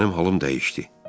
Mənim halım dəyişdi.